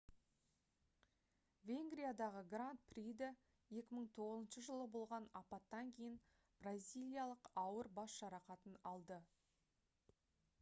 венгриядағы гранд приде 2009 жылы болған апаттан кейін бразилиялық ауыр бас жарақатын алды